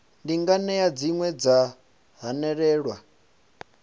ndi nganea dzine dza hanelelwa